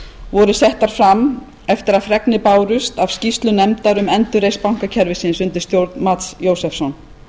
voru settar fram eftir að fregnir bárust af skýrslu nefndar um endurreisn bankakerfisins undir stjórn mats jósefsson